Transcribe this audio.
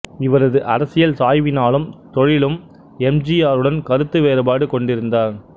இவரது அரசியல் சாய்வினாலும் தொழிலும் எம் ஜி ஆருடன் கருத்து வேறுபாடு கொண்டிருந்தார்